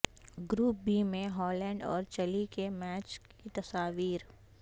group B میں Holland اور Chile کے میچ کی تصاویر